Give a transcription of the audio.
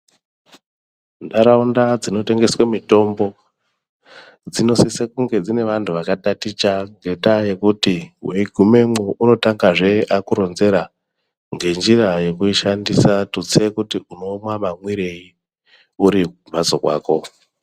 Nharaunda dzinotengeswe mitombo ,dzinosise kunge dzine vanthu ,vakataticha, ngendaa yekuti weigumemwo, unotangazve atange kukuronzera, ngenjira yekuishandisa kuti uziye kuti unomwa mamwirei uri kumhatso kwako.